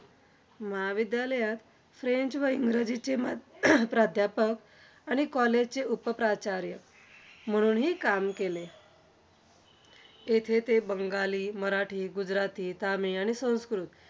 महाविद्यालयात फ्रेंच व इंग्रजीचे माध्य~ प्राध्यापक आणि college चे उपप्राचार्य म्हणून हि काम केले. तेथे ते बंगाली, मराठी, गुजराथी, तामिळ आणि संस्कृत.